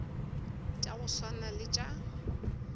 tša go swana le tša